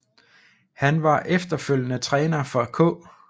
Han var efterfølgende træner for K